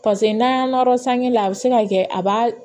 Paseke n'an y'an nɔrɔ la a bɛ se ka kɛ a b'a